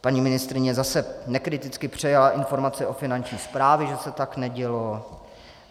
Paní ministryně zase nekriticky přejala informace od Finanční správy, že se tak nedělo.